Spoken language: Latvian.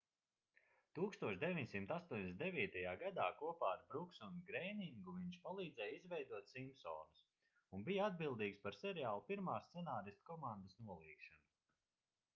1989. gadā kopā ar bruksu un greiningu viņš palīdzēja izveidot simpsonus un bija atbildīgs par seriāla pirmās scenāristu komandas nolīgšanu